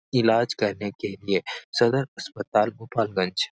इलाज करने के लिए सदर अस्पताल गोपालगंज।